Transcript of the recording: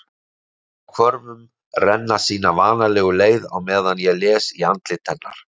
Tárin á hvörmunum renna sína vanalegu leið á meðan ég les í andlit hennar.